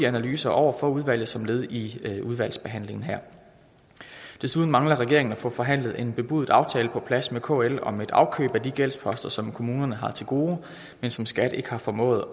analyser over for udvalget som led i udvalgsbehandlingen her desuden mangler regeringen at få forhandlet en bebudet aftale på plads med kl om et afkøb af de gældsposter som kommunerne har til gode men som skat ikke har formået